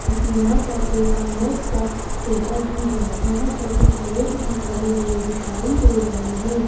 क्योंकि यहां पर एक आइनॉक्स का थिएटर भी है यहां पर कुछ लोग भी खड़े हुए दिखाई दे रहे हैं।